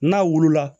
N'a wolo la